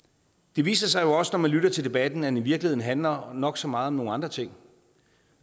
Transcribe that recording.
det viser sig også når man lytter til debatten at den i virkeligheden handler nok så meget om nogle andre ting